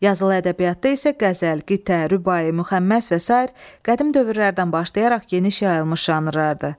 Yazılı ədəbiyyatda isə qəzəl, qitə, rübai, müxəmməs və sair qədim dövrlərdən başlayaraq geniş yayılmış janrlardır.